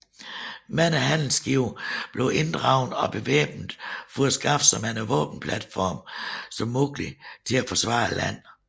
Mange handelsskibe blev inddraget og bevæbnet for at skaffe så mange våbenplatforme som muligt til at forsvaret landet